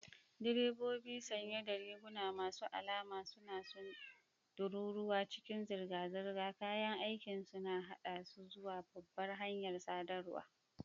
Direbobi sanye da riguna masu alama suna tururuwa cikin zirga-zirga, kayan aikinsu na haɗa su zuwa babbar hanyar sadarwa.